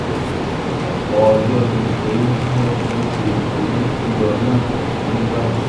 ọ̀pọ̀ ọjọ́ ni eyín tí wọ́n fi ṣe eyín tó yọ náà kò fi ní bàjẹ́